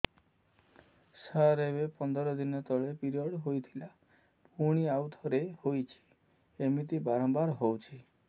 ସାର ଏବେ ପନ୍ଦର ଦିନ ତଳେ ପିରିଅଡ଼ ହୋଇଥିଲା ପୁଣି ଆଉଥରେ ହୋଇଛି ଏମିତି ବାରମ୍ବାର ହଉଛି